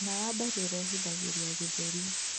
Thina wa mbaru urehithagirĩa gĩthũri